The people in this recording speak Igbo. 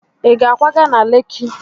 Ị ga-akwaga na Leki?